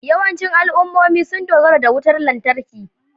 Yawancin al'ummomi sun dogara da wutar lantarki